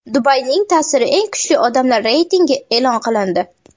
Dubayning ta’siri eng kuchli odamlari reytingi e’lon qilindi.